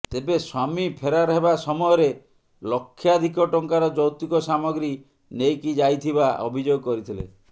ତେବେ ସ୍ୱାମୀ ଫେରାର ହେବା ସମୟରେ ଲକ୍ଷାଧିକ ଟଙ୍କାର ଯୌତୁକ ସାମଗ୍ରୀ ନେଇକି ଯାଇଥିବା ଅଭିଯୋଗ କରିଥିଲେ